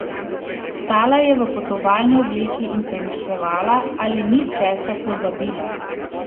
Stala je v potovalni obleki in premišljevala, ali ni česa pozabila.